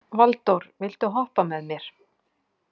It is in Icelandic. Valdór, viltu hoppa með mér?